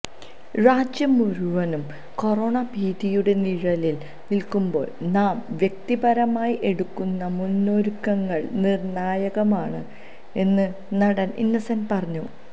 രാജ്യം മുഴുവനും കൊറോണ ഭീതിയുടെ നിഴലിൽ നിൽകുമ്പോൾ നാം വ്യക്തിപരമായി എടുക്കുന്ന മുന്നൊരുക്കങ്ങൾ നിർണായകമാണ് എന്ന് നടൻ ഇന്നസെന്റ് പറഞ്ഞു